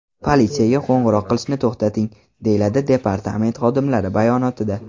Politsiyaga qo‘ng‘iroq qilishni to‘xtating”, deyiladi departament xodimlari bayonotida.